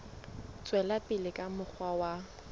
tswela pele ka mokgwa wa